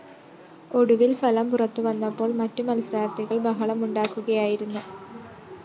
ഒടുവില്‍ ഫലം പുറത്തുവന്നപ്പോള്‍ മറ്റു മത്സരാര്‍ത്ഥികള്‍ ബഹളമുണ്ടാക്കുകയായിരുന്നു